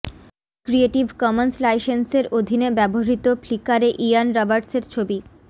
creative commons লাইসেন্সের অধীনে ব্যবহৃত ফ্লিকারে ইয়ান রবার্টসের ছবি